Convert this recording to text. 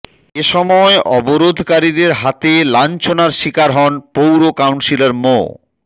এ সময় অবরোধকারীদের হাতে লাঞ্ছনার শিকার হন পৌর কাউন্সিলর মো